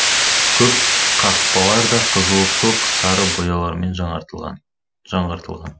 көп қақпалар да қызыл көк сары бояулармен жаңартылған жаңғыртылған